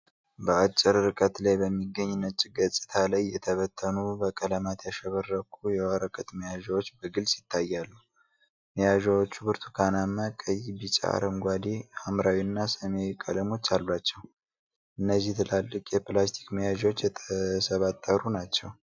በአጭር ርቀት ላይ በሚገኝ ነጭ ገጽታ ላይ የተበተኑ በቀለማት ያሸበረቁ የወረቀት መያዣዎች በግልጽ ይታያሉ። መያዣዎቹ ብርቱካናማ፣ ቀይ፣ ቢጫ፣ አረንጓዴ፣ ሐምራዊና ሰማያዊ ቀለሞች አሏቸው። እነዚህ ትላልቅ የፕላስቲክ መያዣዎች የተሰባጠሩ ናቸው።